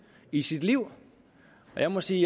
i sit liv jeg må sige